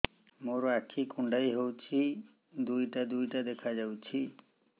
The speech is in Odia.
ମୋର ଆଖି କୁଣ୍ଡାଇ ହଉଛି ଦିଇଟା ଦିଇଟା ଦେଖା ଯାଉଛି